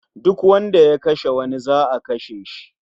Duk wanda ya kashe wani za'a kashe shi